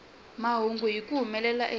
mahungu hi ku humelela eka